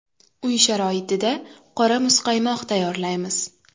Uy sharoitida qora muzqaymoq tayyorlaymiz.